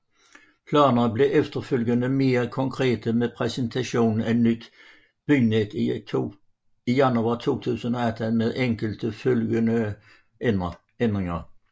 Planerne blev efterfølgende mere konkrete med præsentationen af Nyt Bynet i januar 2018 med enkelte efterfølgende ændringer